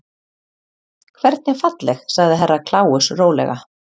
Hvernig falleg sagði Herra Kláus rólega.